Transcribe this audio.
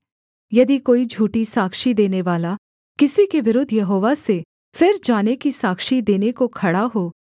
यदि कोई झूठी साक्षी देनेवाला किसी के विरुद्ध यहोवा से फिर जाने की साक्षी देने को खड़ा हो